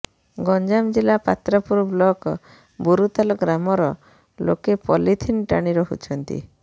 ଗଞ୍ଜାମ ଜିଲା ପାତ୍ରପୁର ବ୍ଲକ ବୁରୁତାଲ ଗ୍ରାମର ଲୋକେ ପଲିଥିନ ଟାଣି ରହୁଛନ୍ତି